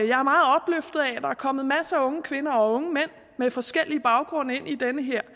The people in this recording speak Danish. der er kommet masser af unge kvinder og unge mænd med forskellig baggrund ind i den her